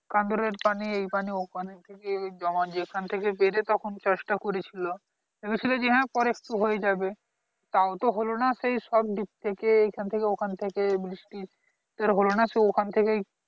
কান্দারের পানি এ পানি ও পানি থেকে জমা যেখান থেকে পেরে তখন কাজটা করেছিল ভেবেছিলো যে হ্যাঁ পরে একটু হয়ে যাবে তাওতো হলো না সেই সব দিক থেকে এখান থেকে ওখান থেকে বৃষ্টি সেটা হোলো না সেই ওখান থেকেই